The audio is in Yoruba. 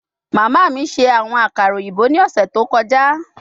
Mama mi ṣe awọn akara oyinbo ni ọsẹ to kọja